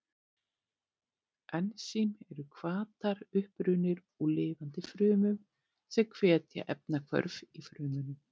Ensím eru hvatar, upprunnir úr lifandi frumum, sem hvetja efnahvörf í frumunum.